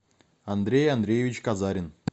андрей андреевич казарин